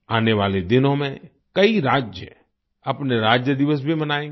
आने वाले दिनों में कई राज्य अपने राज्य दिवस भी मनाएंगे